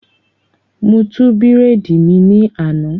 Mo tú bírèèdì mi ní àná